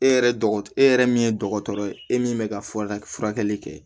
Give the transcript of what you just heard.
E yɛrɛ dɔgɔ e yɛrɛ min ye dɔgɔtɔrɔ ye e min bɛ ka fɔ a ka furakɛli kɛ